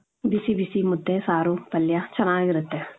ಬಿಸಿ ಬಿಸಿ ಮುದ್ದೆ, ಸಾರು, ಪಲ್ಯ ಚನಾಗಿರುತ್ತೆ .